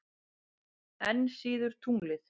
Enn síður tunglið.